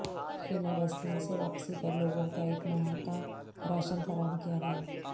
خیمہ بستیوں سے واپسی پر لوگوں کا ایک ماہ کا راشن فراہم کیا گیا